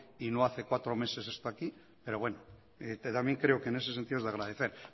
y no hace cuatro meses esto aquí pero bueno que también creo que en ese sentido es de agradecer